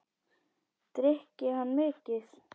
Drykki hann mikið?